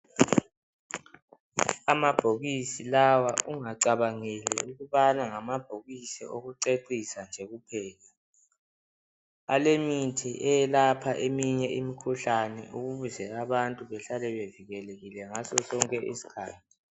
Amabhokisi lawa ungacabangeli ukubana ngamabhokisi okucecisa nje kuphela. Alemithi eyelapha eminye imikhuhlane ukuze abantu behlale bevikelekile ngasosonke isikhathi.